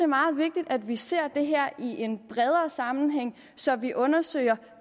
meget vigtigt at vi ser det her i en bredere sammenhæng så vi undersøger